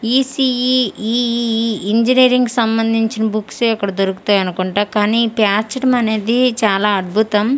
ECE EEE engineering కి సంబంధించిన books ఏ ఇక్కడ దొరుకుతాయనుకుంటా కానీ పేర్చటమనేది చాలా అద్భుతం.